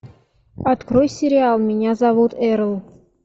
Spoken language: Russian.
открой сериал меня зовут эрл